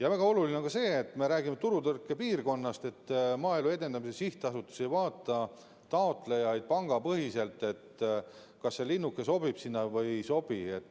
Väga oluline on ka see, et kui me räägime turutõrkepiirkonnast, siis Maaelu Edendamise Sihtasutus ei vaata taotlejaid pangapõhiselt, st kas see linnuke sobib sinna või ei sobi.